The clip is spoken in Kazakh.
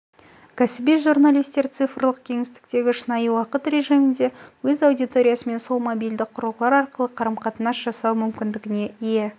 кәсіби журналистер цифрлық кеңістіктегі шынайы уақыт режимінде өз аудиториясымен сол мобильді құрылғылар арқылы қарым-қатынас жасау мүмкіндігіне ие